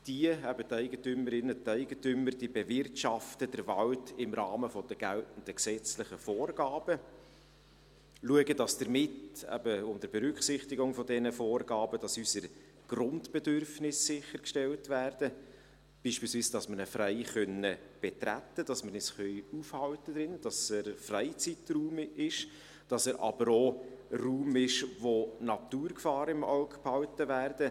Die Eigentümerinnen und Eigentümer bewirtschaften den Wald im Rahmen der geltenden gesetzlichen Vorgaben und schauen, dass unter Berücksichtigung dieser Vorgaben unsere Grundbedürfnisse sichergestellt werden, beispielsweise, dass wir ihn frei betreten können und dass wir uns darin aufhalten können, dass er ein Freizeitraum ist, dass er aber auch ein Raum ist, in dem die Naturgefahren im Auge behalten werden.